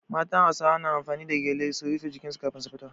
Matan Hausawa na amfani da gyale su rife jikin su in za su fita.